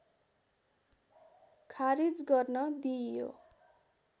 ख़ारिज गर्न दिइयो